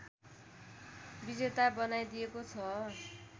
विजेता बनाइदिएको छ